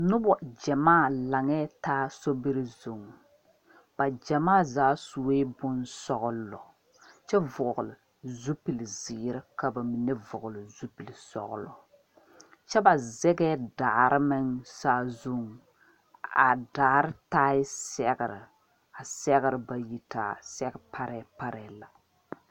Nobo gyamaa laŋa taa so biri zuŋ, ba gyamaa zaa suɛ bon sɔglo kyɛ vɔgle zupelee ziiri ka ba mine vɔgle zupelee sɔglo, kyɛ ba zagee daare meŋ saa zuŋ a daare taaɛ sɛgre ,a sɛgre ba yi taa sɛge parepare la.